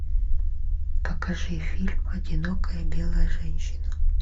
покажи фильм одинокая белая женщина